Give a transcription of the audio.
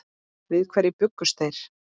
Við hverju bjuggust þeir?